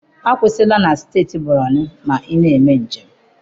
Akwụsịla na steeti borono, ma ị na-eme njem.